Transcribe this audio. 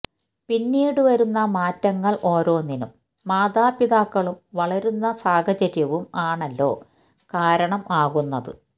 പിന്നീട് വരുന്ന മാറ്റങ്ങൾ ഓരോന്നിനും മാതാപിതാക്കളും വളരുന്ന സാഹചര്യവും ആണല്ലോ കാരണം ആകുന്നത്